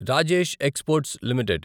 Rajesh exports limited